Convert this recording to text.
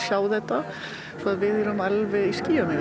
sjá þetta svo við erum alveg í skýjunum